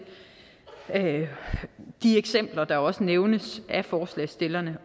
de eksempler der også nævnes af forslagsstillerne